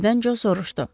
Birdən Co soruşdu.